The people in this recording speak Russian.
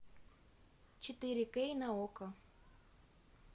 четыре кей на окко